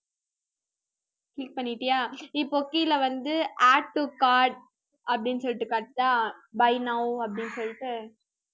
click பண்ணிட்டியா? இப்போ கீழே வந்து add to cart அப்படின்னு சொல்லிட்டு காட்டுதா buy now அப்படின்னு சொல்லிட்டு